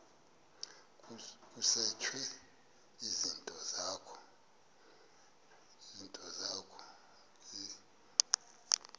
kusetshwe izinto zakho